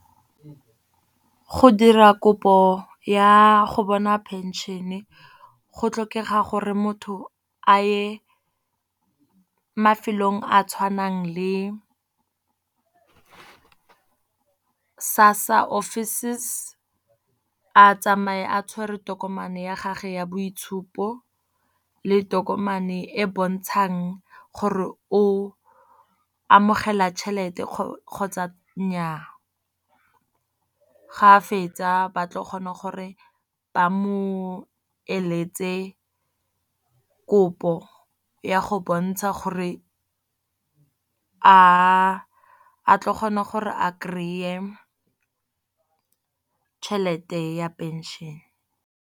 Go dira kopo ya go bona pension-e go tlhokega gore motho a ye mafelong a a tshwanang le SASSA office. A tsamaye a tshwere tokomane ya gage ya boitshupo, le tokomane e e bontshang gore o amogela tšhelete kgotsa nnyaa. Ga a fetsa ba tlo kgone gore ba mo eletse kopo ya go bontsha gore a tlo kgona gore a kry-e tšhelete ya pension.